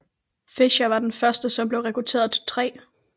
Fisher var den første som blev rekrutteret til 3